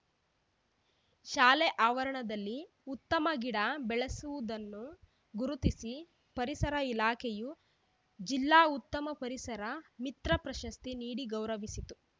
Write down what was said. ಶಾಲೆ ಆವರಣದಲ್ಲಿ ಉತ್ತಮ ಗಿಡ ಬೆಳೆಸಿರುವುದನ್ನು ಗುರುತಿಸಿ ಪರಿಸರ ಇಲಾಖೆಯು ಜಿಲ್ಲಾ ಉತ್ತಮ ಪರಿಸರ ಮಿತ್ರ ಪ್ರಶಸ್ತಿ ನೀಡಿ ಗೌರವಿಸಿತ್ತು